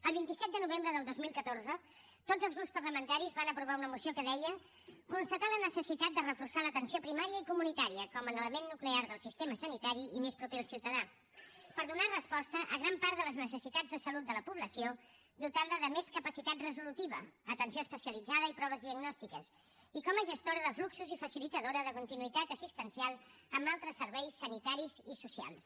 el vint set de novembre del dos mil catorze tots els grups parlamentaris van aprovar una moció que deia constatar la necessitat de reforçar l’atenció primària i comunitària com l’element nuclear del sistema sanitari i més proper al ciutadà per donar resposta a gran part de les necessitats de salut de la població dotant la de més capacitat resolutiva atenció especialitzada i proves diagnòstiques i com a gestora de fluxos i facilitadora de continuïtat assistencial amb altres serveis sanitaris i socials